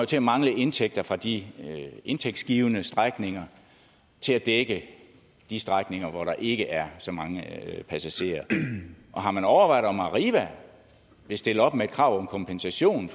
til at mangle indtægter fra de indtægtsgivende strækninger til at dække de strækninger hvor der ikke er så mange passagerer har man overvejet om arriva vil stille op med et krav om kompensation